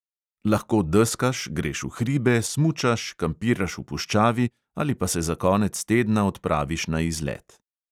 Lahko deskaš, greš v hribe, smučaš, kampiraš v puščavi ali pa se za konec tedna odpraviš na izlet.